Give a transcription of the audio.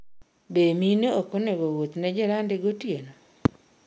Be, mine ok onego wuoth ne jirande gotieno?